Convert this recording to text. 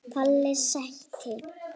Palli sæti!!